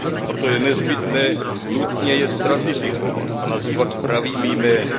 Proto je nezbytně nutné je stratifikovat a nazývat pravými jmény.